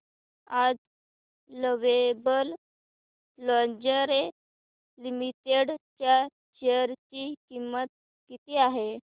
आज Lovable Lingerie Limited च्या share ची किंमत किती आहे